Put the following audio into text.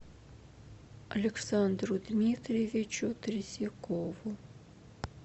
александру дмитриевичу третьякову